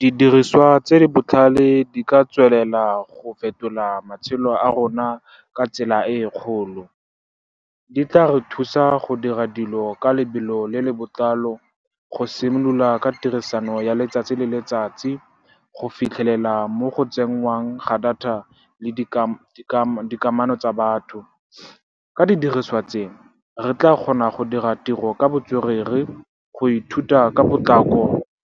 Didiriswa tse di botlhale di ka tswelela go fetola matshelo a rona ka tsela e e kgolo. Di tla re thusa go dira dilo ka lebelo le le botlalo, go simolola ka tirisano ya letsatsi le letsatsi, go fitlhelela mo go tsenngwang ga data le dikamano tsa batho. Ka didiriswa tseo, re tla kgona go dira tiro ka botswerere, go ithuta ka potlako